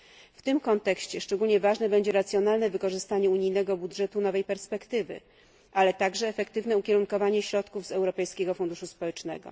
W tym kontekście szczególnie ważne będzie racjonalne wykorzystanie unijnego budżetu nowe perspektywy finansowe, ale także efektywne ukierunkowanie środków z Europejskiego Funduszu Społecznego.